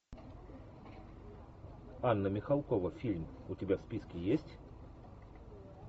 анна михалкова фильм у тебя в списке есть